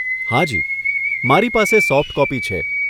હાજી, મારી પાસે સોફ્ટ કોપી છે.